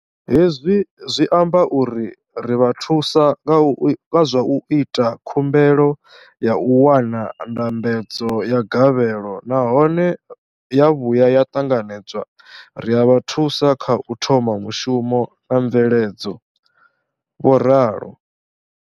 Hezwi zwi amba uri ri vha thusa nga zwa u ita khumbelo ya u wana ndambedzo ya gavhelo nahone ya vhuya ya ṱanganedzwa, ri a vha thusa kha u thoma mushumo na mveledzo, vho ralo.